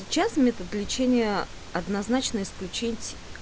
сейчас метод лечения однозначно исключать